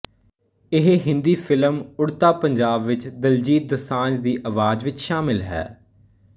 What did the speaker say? ਇਹ ਹਿੰਦੀ ਫਿਲਮ ਉੜਤਾ ਪੰਜਾਬ ਵਿੱਚ ਦਿਲਜੀਤ ਦੁਸਾਂਝ ਦੀ ਆਵਾਜ਼ ਵਿੱਚ ਸ਼ਾਮਿਲ ਹੈ